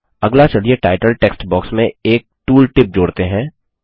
अगला चलिए title text box में एक टूल टिप जोड़ते हैं